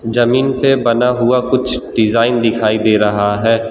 जमीन पे बना हुआ कुछ डिजाइन दिखाई दे रहा हैं।